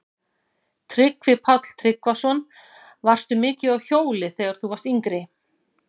Tryggvi Páll Tryggvason: Varstu mikið á hjóli þegar þú varst yngri?